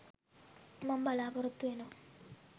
මම බලාපොරොත්තු වෙනවා.